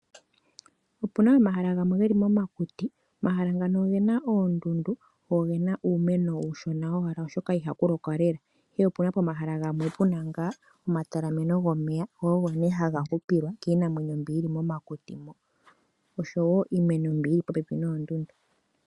Opuna omahala gamwe geli momakuti. Omahala ngano ogena oondundu go ogena owala uumeno uushona owala oshoka ihaku lokwa lela. Ihe opuna pomahala gamwe puna ngaa omatalameno gomeya go ogo nee haga hupilwa kiinamwenyo mbi yili momakuti oshowo iimeno mbi yili popepi noondundu.